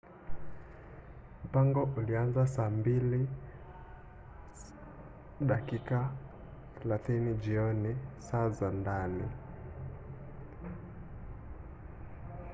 mpango ulianza saa 2 na dakika 30 jioni saa za ndani 15.00 utc